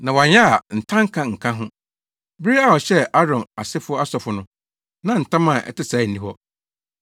Na wɔanyɛ a ntanka nka ho. Bere a ɔhyɛɛ Aaron asefo asɔfo no, na ntam a ɛte saa nni hɔ.